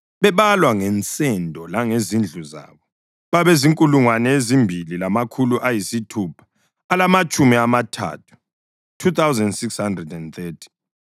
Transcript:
bebalwa ngensendo langezindlu zabo, babazinkulungwane ezimbili lamakhulu ayisithupha alamatshumi amathathu (2,630).